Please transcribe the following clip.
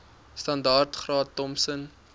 standaard graad thompson